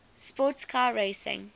sports car racing